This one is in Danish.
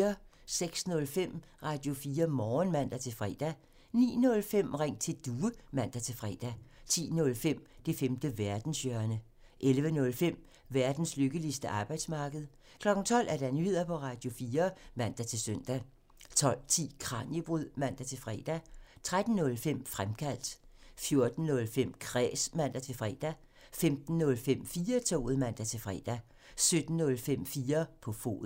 06:05: Radio4 Morgen (man-fre) 09:05: Ring til Due (man-fre) 10:05: Det femte verdenshjørne (man) 11:05: Verdens lykkeligste arbejdsmarked (man) 12:00: Nyheder på Radio4 (man-søn) 12:10: Kraniebrud (man-fre) 13:05: Fremkaldt (man) 14:05: Kræs (man-fre) 15:05: 4-toget (man-fre) 17:05: 4 på foden (man)